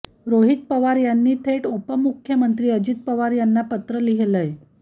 रोहित पवार यांनी थेट उपमुख्यमंत्री अजित पवार यांना पत्र लिहिलंय